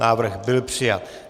Návrh byl přijat.